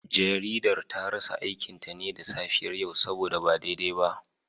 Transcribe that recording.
Jaridar ta rasa aikinta ne da safiyar yau saboda ba daidai ba